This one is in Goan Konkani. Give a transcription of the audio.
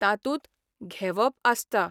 तातूंत 'घेवप 'आसता.